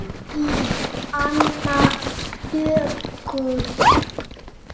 Þín Anna Döggin.